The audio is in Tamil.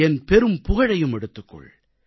என் பெரும்புகழையும் எடுத்துக் கொள்